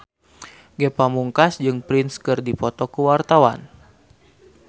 Ge Pamungkas jeung Prince keur dipoto ku wartawan